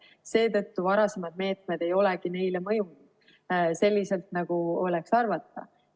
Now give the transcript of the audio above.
Seetõttu varasemad meetmed ei olegi sellele mõjunud selliselt, nagu oleks võinud arvata.